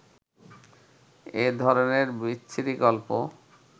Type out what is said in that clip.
এ ধরনের বিচ্ছিরি গল্প